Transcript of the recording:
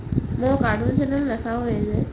মই cartoon channel নাচাওৱে যে